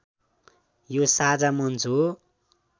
यो साझा मञ्च हो